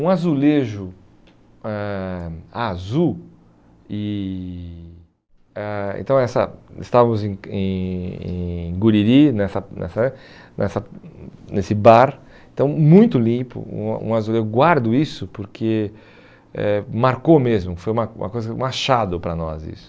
Um azulejo eh azul, e ãh então essa estávamos em em em Guriri, nessa nessa eh nessa nesse bar, então muito limpo, um um azulejo, guardo isso porque eh marcou mesmo, foi uma uma coisa, um achado para nós isso.